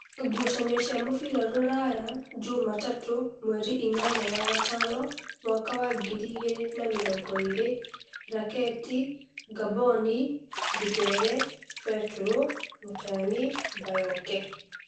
Ngucanio cia mũbira Ruraya Jumatatũ mweri inyanya wa gatano mwaka wa ngiri igĩrĩ na namĩrongoĩrĩ: Raketi, Ngamboni, Ndimbere, Betũrũ, Mutayan, Bayoke.